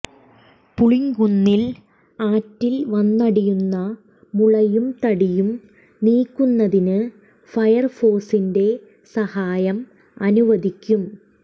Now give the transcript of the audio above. പുളിങ്കുന്നിൽ ആറ്റിൽ വന്നടിയുന്ന മുളയും തടിയും നീക്കുന്നതിന് ഫയർ ഫോഴ്സിന്റെ സഹായം അനുവദിക്കും